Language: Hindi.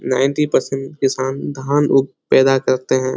नाइनटी परसेंट किसान धान उ पैदा करते हैं।